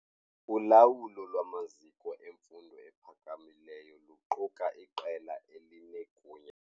Ulawulo lwamaziko emfundo ephakamileyo luquka iqela elinegunya.